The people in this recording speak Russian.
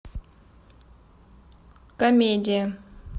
комедия